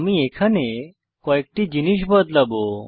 আমি এখানে কয়েকটি জিনিস বদলাবো